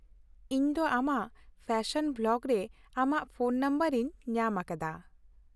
ᱤᱧ ᱫᱚ ᱟᱢᱟᱜ ᱯᱷᱮᱥᱚᱱ ᱵᱞᱚᱜ ᱨᱮ ᱟᱢᱟᱜ ᱯᱷᱳᱱ ᱱᱟᱢᱵᱟᱨ ᱤᱧ ᱧᱟᱢ ᱟᱠᱟᱫᱟ ᱾